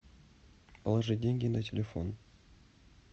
положить деньги на телефон